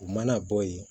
U mana bɔ yen